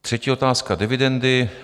Třetí otázka: dividendy.